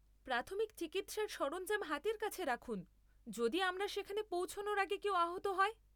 প্রাথমিক চিকিৎসার সরঞ্জাম হাতের কাছে রাখুন যদি আমরা সেখানে পৌঁছানোর আগে কেউ আহত হয়।